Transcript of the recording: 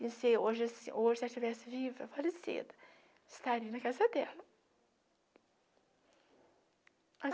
Pensei, hoje assim, hoje se ela estivesse viva, falecida, estaria na casa dela.